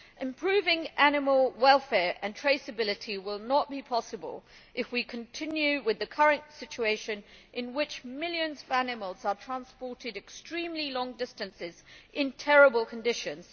Improving animal welfare and traceability will not be possible if we continue with the current situation, in which millions of animals are transported extremely long distances in terrible conditions.